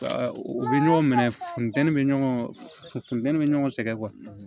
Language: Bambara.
U bɛ ɲɔgɔn minɛ funteni bɛ ɲɔgɔn funteni bɛ ɲɔgɔn sɛgɛn